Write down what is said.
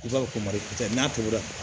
I b'a fɔ ko mariku tɛ n'a tobira